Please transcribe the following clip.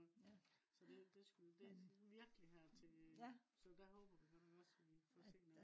så det skulle. det skulle virkelig her til. så der håber vi godt nok også vi kan få set noget